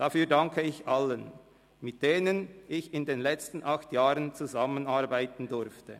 Dafür danke ich allen, mit denen ich in den letzten acht Jahren zusammenarbeiten durfte.